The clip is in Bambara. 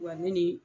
Wa ne ni